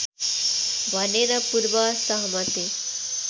भनेर पूर्वसहमति